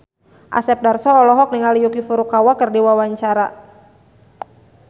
Asep Darso olohok ningali Yuki Furukawa keur diwawancara